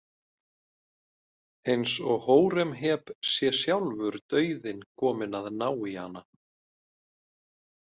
Eins og Hóremheb sé sjálfur dauðinn kominn að ná í hana.